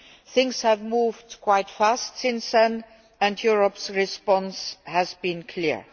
Things have moved quite fast since then, and Europe's response has been clear.